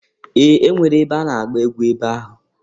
Ee! E nwere ebe a na-agba egwu ebe ahụ.